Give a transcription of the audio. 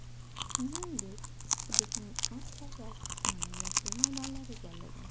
Shuningdek hududning aksariyat qismini yashil maydonlar egallagan.